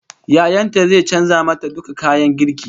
Yayan ta zai canza mata duka kayan girkin ta